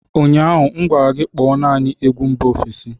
Ụnyaahụ m gwara gị, Kpọọ naanị egwu mba ofesi